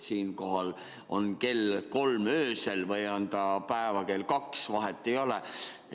Siinkohal, kas kell on kolm öösel või on ta päeval kell kaks, vahet ei ole.